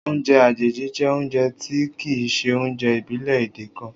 Oúnjẹ àjèjì jẹ́ oúnjẹ tí kìí ṣe oúnjẹ ìbílẹ̀ èdè kan